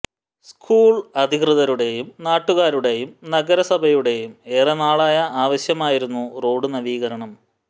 school അധികൃതരുടെയും നാട്ടുകാരുടെയും നഗരസഭയുടെയും ഏറെ നാളായ ആവശ്യമായിരുന്നു റോഡ് നവീകരണം